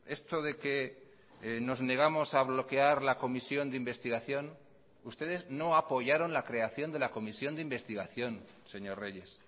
esto de que nos negamos a bloquear la comisión de investigación ustedes no apoyaron la creación de la comisión de investigación señor reyes